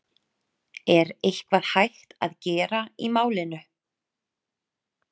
Er eitthvað hægt að gera í málinu?